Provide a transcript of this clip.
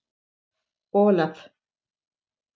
Olaf